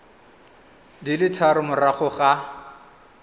di le tharo morago ga